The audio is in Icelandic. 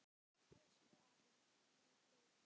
Elsku afi, hvíl í friði.